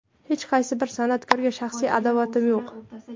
Hech qaysi bir san’atkorga shaxsiy adovatim yo‘q.